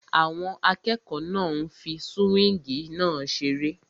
Àwọn akẹ́kọ̀ọ́ náà ń fí súwíngì náà seré